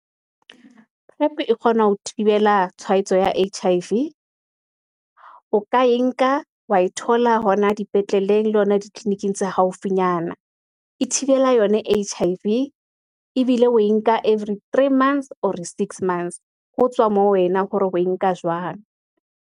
Prep e kgona ho thibela tshwaetso ya H_I_V, o ka e nka wa e thola hona dipetleleng, le ditleliniking tse haufinyana, e thibela yona H_I_V, ebile o e nka every three months Or re six months. Ho tswa moo, wena hore o e nka jwang.